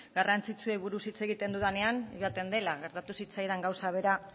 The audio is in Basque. garrantzitsuei buruz hitz egiten dudanean joaten dela gertatu zitzaidan gauza bera